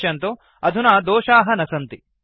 पश्यन्तु अधुना दोषाः न सन्ति